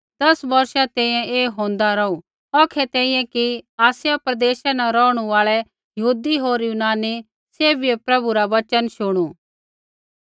दस बौर्षा तैंईंयैं ऐ होंदा रौहू औखै तैंईंयैं कि आसिया प्रदेशा न रौहणु आल़ै यहूदी होर यूनानी सैभियै प्रभु रा वचन शुणू